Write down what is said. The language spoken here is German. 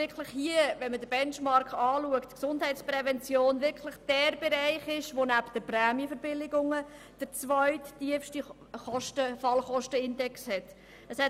Wenn man den Benchmark betrachtet, ist die Gesundheitsprävention wirklich derjenige Bereich, der nebst den Prämienverbilligungen den zweittiefsten Fallkostenindex aufweist.